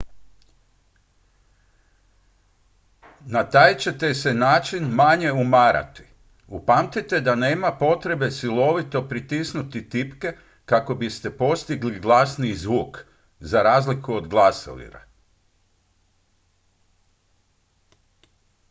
na taj ćete se način manje umarati upamtite da nema potrebe silovito pritisnuti tipke kako biste postigli glasniji zvuk za razliku od glasovira